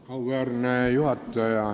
Auväärne juhataja!